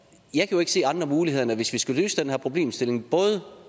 jeg kan ikke se andre muligheder end hvis vi skal løse den her problemstilling